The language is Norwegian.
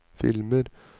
filmer